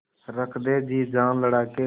रख दे जी जान लड़ा के